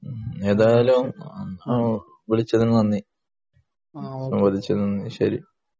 ഏതായാലും വിളിച്ചതിനു നന്ദി ശരി